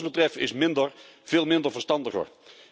Wat ons betreft is minder, veel minder, verstandiger.